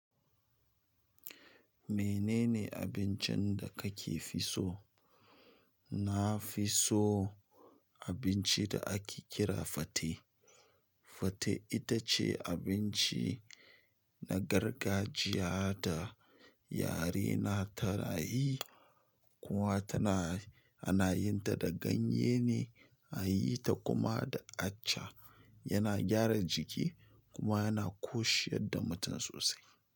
Menene abincin da kake fi so? Na fi so abincin da ake kira fate. Fate ita ce abinci na gargajiya da yare na tana yi, kuma tana ana yin ta da ganyen ne, an yi ta kuma da aca. Yana gyara jiki kuma yana koshiyar da mutum sosai.